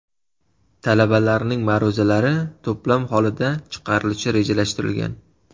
Talabalarning ma’ruzalari to‘plam holida chiqarilishi rejalashtirilgan.